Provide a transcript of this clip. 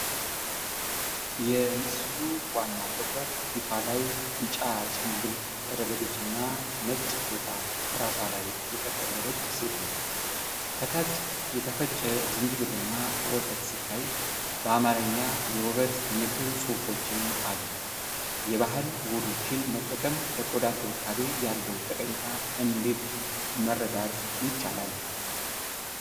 የምስሉ ዋና ትኩረት ፊቷ ላይ ቢጫ ጭምብል ያደረገችና ነጭ ፎጣ በራሷ ላይ የጠቀለለች ሴት ነች። ከታች የተፈጨ ዝንጅብልና ወተት ሲታይ፣ በአማርኛ የውበት ምክር ፅሁፎችም አሉ። የባህል ውህዶችን መጠቀም ለቆዳ እንክብካቤ ያለውን ጠቀሜታ እንዴት መረዳት ይቻላል?